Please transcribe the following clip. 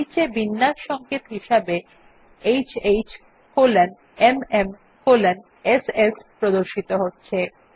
নীচে বিন্যাস সংকেত হিসাবে HHMMSS প্রদর্শিত হচ্ছে